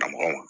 Ka mɔgɔw